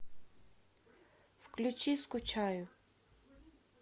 включи скучаю